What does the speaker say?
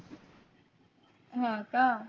हो का